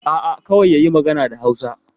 A'a, kawai yayi magana da Hausa.